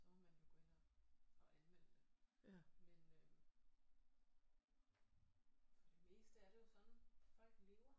Så må man jo gå ind og og anmelde det men øh for det meste er det jo sådan folk lever